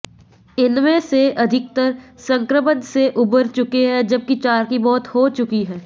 इनमें से अधिकतर संक्रमण से उबर चुके हैं जबकि चार की मौत हो चुकी है